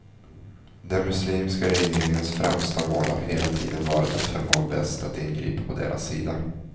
Den muslimska regeringens främsta mål har hela tiden varit att förmå väst att ingripa på deras sida.